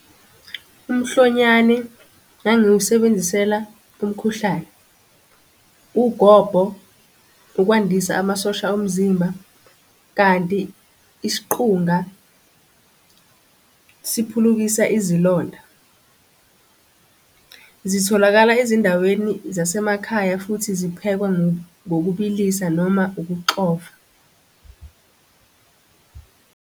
Umhlonyane ngangiwusebenzisela umkhuhlane, ugobho, ukwandisa amasosha omzimba, kanti isiqunga siphulukisa izilonda. Zitholakala ezindaweni zasemakhaya futhi ziphekwa ngokubilisa noma ukuxova .